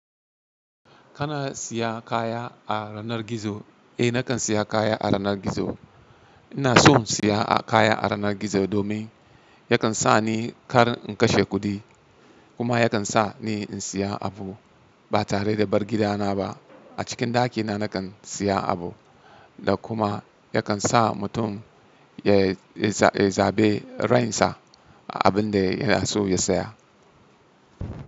Kana siya kaya a yanar gizo? Eh, nakan siya kaya a yanar gizo. Ina son siya kaya a yanar gizo domin yakan sa ni kar in kashe kuɗi kuma yakan sa ni in siya abu ba tare da bar gidana ba. A cikin ɗakina nakan siya abu da kuma yakan sa mutum ya, ya zaɓi ra'ayin sa abin da yana so ya siya.